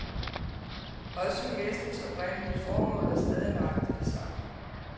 Også messens oprindelige formål er stadig nøjagtig det samme.